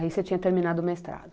Aí você tinha terminado o mestrado.